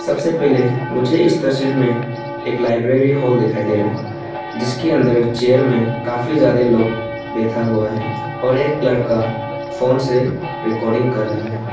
सबसे पहले मुझे इस तस्वीर में एक लाइब्रेरी हॉल दिखाई दे रहा है जिसके अंदर चेयर में काफी ज्यादा लोग बैठा हुआ है और एक लड़का फोन से रिकॉर्डिंग कर रहा है।